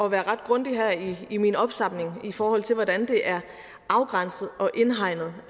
at være ret grundig her i min opsamling i forhold til hvordan det er afgrænset og indhegnet